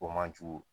O man jugu